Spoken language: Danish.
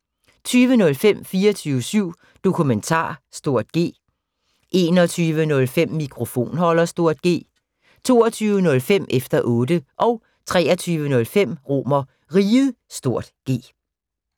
20:05: 24syv Dokumentar (G) 21:05: Mikrofonholder (G) 22:05: Efter Otte 23:05: RomerRiget (G)